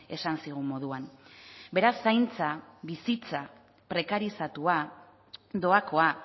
esan zigun moduan beraz zaintza bizitza prekarizatua doakoa